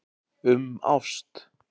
Um ást.